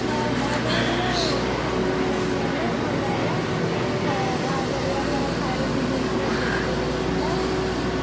ହଁ ବାହାଘର ପୂରା ଖୁବ ଧୂମଧାମରେ ହେଲା ଭଲ ହେଲା, ଅଁ ଆଉ ବାହାଘରରେ ଆମର ଖାଇବା ପିଇବା ପୁରା ଜୋରସୋରରେ ହେଇଥିଲା,